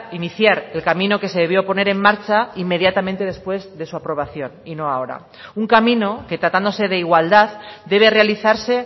iniciar el camino que se debió poner en marcha inmediatamente después de su aprobación y no ahora un camino que tratándose de igualdad debe realizarse